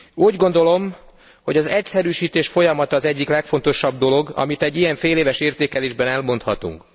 Úgy gondolom, hogy az egyszerűsítés folyamata az egyik legfontosabb dolog, amit egy ilyen féléves értékelésben elmondhatunk.